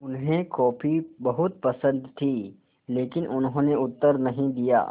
उन्हें कॉफ़ी बहुत पसन्द थी लेकिन उन्होंने उत्तर नहीं दिया